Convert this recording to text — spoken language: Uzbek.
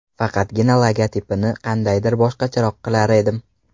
Faqatgina logotipini qandaydir boshqacharoq qilar edim.